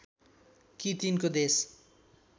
कि तिनको देश